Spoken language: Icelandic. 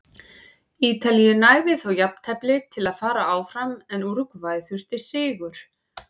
Ítalíu nægði þó jafntefli til að fara áfram en Úrúgvæ þurfti sigur.